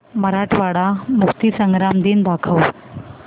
मराठवाडा मुक्तीसंग्राम दिन दाखव